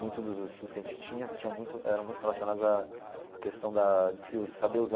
Muitos dos estudos que a gente tinha tinha muito eram muito relacionados à a questão da de se us saber usar.